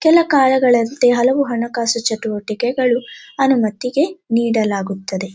ಕೆಲ ಕಾಳಗಳಂತೆ ಹಲವು ಹಣಕಾಸು ಚಟುವಟಿಕೆಗಳು ಅನುಮತಿಗೆ ನೀಡಲಾಗುತ್ತದೆ.